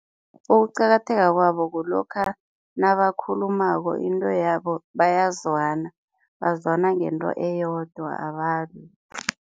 Ukuqakatheka kwabo kulokha nabakhulumako into yabo bayazwana, bazwana ngento eyodwa abalwi.